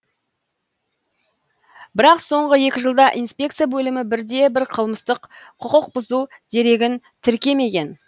бірақ соңғы екі жылда инспекция бөлімі бірде бір қылмыстық құқықбұзу дерегін тіркемеген